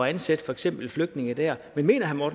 at ansætte for eksempel flygtninge der men mener herre